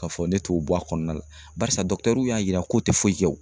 K'a fɔ ne t'o bɔ a kɔnɔna la barisa y'a yira ko tɛ foyi kɛ